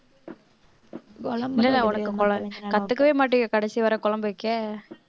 கத்துக்கவே மாட்டீங்க கடைசி வரை குழம்பு வைக்க